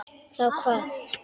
Þá hvað?